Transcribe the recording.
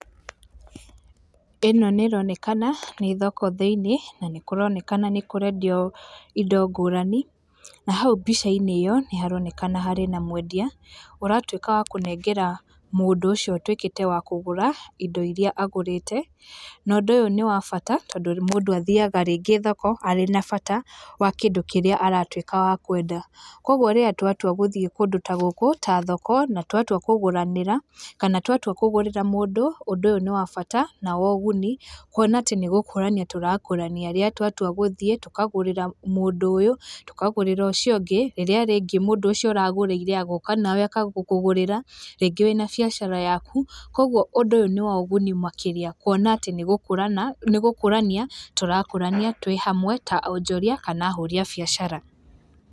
Ĩno nĩĩronekana nĩ thoko thĩini na nĩkũronekana nĩkũrendio indo ngũrani, na hau mbica inĩ ĩyo nĩharonekana harĩ na mwendia ũratuĩka wa kũnengera mũndũ ũcio ũtuĩkĩte wa kũgũra indo iria agũrĩte. Na ũndũ ũyũ nĩ wa bata tondũ mũndũ athiaga rĩngĩ thoko arĩ na bata wa kĩndũ kĩrĩa aratwĩka wa kwenda. Koguo rĩrĩa twatua gũthiĩ kũndũ ta gũkũ, ta thoko na twatua kũgũranĩra kana twatua kũgũrĩra mũndũ, ũndũ ũyũ nĩ wa bata na woguni kuona atĩ nĩ gũkũrania tũrakũrania rĩrĩa twatua gũthiĩ, tũkagũrĩra mũndũ ũyũ, tũkagũrĩra ũcio ũngĩ, rĩrĩa rĩngĩ mũndũ ũcio ũragũrĩire agoka onawe agakũgũrĩra rĩngĩ wĩna biacara yaku koguo ũndũ ũyũ nĩ woguni makĩrĩa kuona atĩ nĩ gũkũrania tũrakũrania twĩ hamwe ta onjoria kana ahũri a biacara.